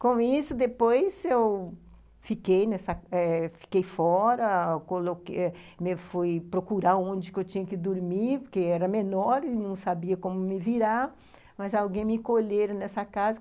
Com isso, depois eu.... fiquei nessa eh, fiquei fora, coloque fui procurar onde eu tinha que dormir, porque eu era menor e não sabia como me virar, mas alguém me colheram nessa casa.